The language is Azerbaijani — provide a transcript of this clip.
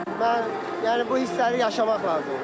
Mən yəni bu hissləri yaşamaq lazımdır.